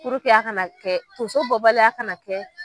a kana kɛ tonso bɔbaliya kana kɛ